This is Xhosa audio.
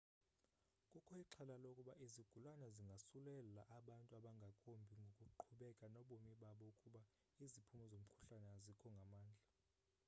kukho ixhala lokuba izigulana zingasulelaa abantu abangakumbi ngokuqhubeka nobomi babo ukuba iziphumo zomkhuhlane azikho ngamandla